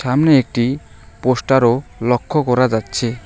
সামনে একটি পোস্টারও লক্ষ্য করা যাচ্ছে।